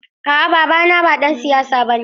A'a babana ba ɗan siyasa bane.